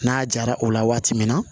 N'a jara o la waati min na